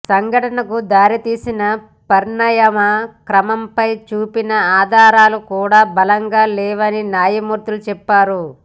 సంఘటనకు దారితీసిన పరిణామ క్రమంపై చూపిన ఆధారాలు కూడా బలంగా లేవని న్యాయమూర్తి చెప్పారు